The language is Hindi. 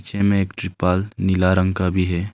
पीछे में एक त्रिपाल नीला रंग का भी है।